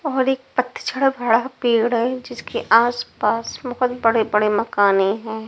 और एक पथछड़ बड़ा पेड़ है जिसके आसपास बहुत बड़े-बड़े मकाने हैं।